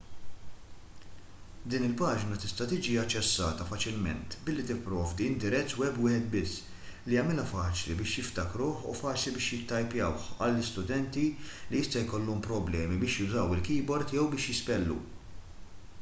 din il-paġna tista' tiġi aċċessata faċilment billi tipprovdi indirizz web wieħed biss li jagħmilha faċli biex jiftakruh u faċli biex jittajpjawh għal studenti li jista' jkollhom problemi biex jużaw il-keyboard jew biex jispellu